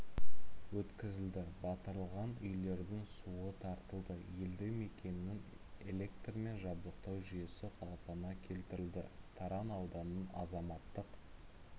өткізілді батырылған үйлердің суы тартылды елді мекеннің электрмен жабдықтау жүйесі қалпына келтірілді таран ауданының азаматтық